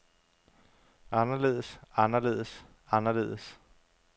anderledes anderledes anderledes